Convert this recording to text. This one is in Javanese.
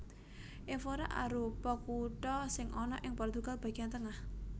Évora arupa kutha sing ana ing Portugal bagéyan tengah